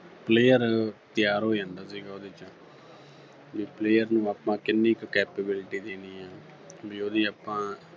player ਤਿਆਰ ਹੋ ਜਾਂਦਾ ਸੀਗਾ ਉਹਦੇ ਚ ਵੀ player ਨੂੰ ਆਪਾਂ ਕਿੰਨੀ ਕੁ capability ਦੇਣੀ ਆ ਵੀ ਉਹਦੀ ਆਪਾਂ